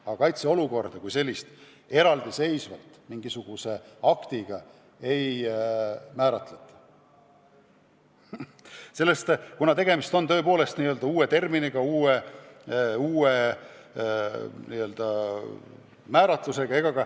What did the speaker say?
Ja kaitseolukorda kui sellist eraldiseisvalt mingisuguse aktiga välja ei kuulutata.